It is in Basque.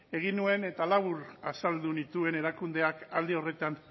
egin nuen eta labur azaldu nituen erakundeak alde horretan